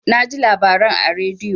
Naji labaran a radio.